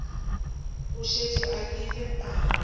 o šetše a kile a